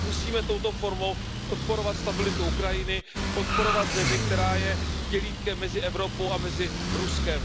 My musíme touto formou podporovat stabilitu Ukrajiny, podporovat zemi, která je dělítkem mezi Evropou a mezi Ruskem.